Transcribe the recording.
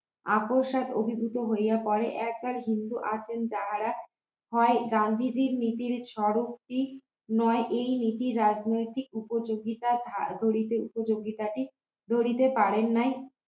আপোস আর অভিভূত হইয়া পরে একদল হিন্দু আছেন তাহারা হয় গান্ধীজীর নীতির স্বরূপ কি নয় এই নীতির রাজনৈতিক উপযোগিতা গুলিতে উপযোগিতাটি ধরিতে পারেন নাই